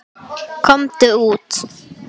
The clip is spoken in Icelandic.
Sjálfur er Egill Árni tenór.